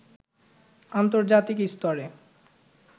আন্তর্জাতিক স্তরে